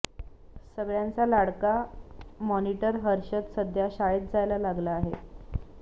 सगळ्यांचा लाडका मॉनिटर हर्षद सध्या शाळेत जायला लागला आहे